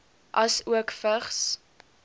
asook vigs